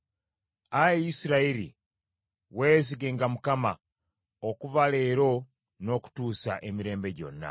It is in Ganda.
Ayi Isirayiri, weesigenga Mukama okuva leero n’okutuusa emirembe gyonna.